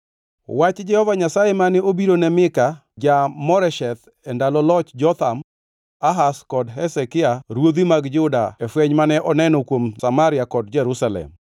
Wach Jehova Nyasaye mane obiro ne Mika ja-Moresheth e ndalo loch Jotham, Ahaz kod Hezekia Ruodhi mag Juda e fweny mane oneno kuom Samaria kod Jerusalem.